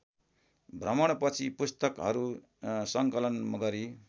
भ्रमणपछि पुस्तकहरू सङ्कलन गरी